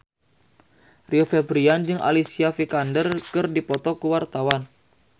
Rio Febrian jeung Alicia Vikander keur dipoto ku wartawan